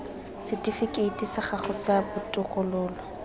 setifikeiti sa gago sa botokololo